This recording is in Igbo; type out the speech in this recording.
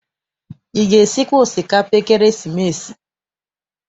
Ị ga- esikwa osikapa ekeresimesi?